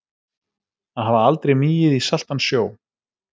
Að hafa aldrei migið í saltan sjó